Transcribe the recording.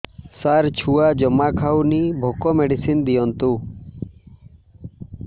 ସାର ଛୁଆ ଜମା ଖାଉନି ଭୋକ ମେଡିସିନ ଦିଅନ୍ତୁ